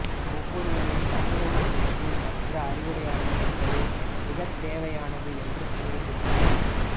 ஒவ்வொருவரின் தன்னுணர்வுநிலைக்கு மற்ற அறிவுடையவர்கள் இருப்பது மிகத்தேவையானது என்று கூறுகின்றார்